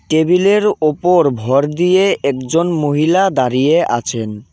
টেবিলের ওপর ভর দিয়ে একজন মহিলা দাঁড়িয়ে আছেন.